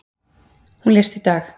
Hún lést í dag.